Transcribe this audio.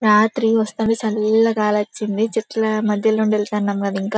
రాత్రి వాస్తవి చల్ల గాల్లొచ్చిందిచెట్ల మధ్యల్లెల్లి ఎల్తున్నాం కదా ఇంకా--